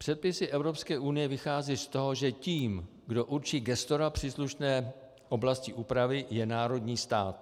Předpisy Evropské unie vychází z toho, že tím, kdo určí gestora příslušné oblasti úpravy, je národní stát.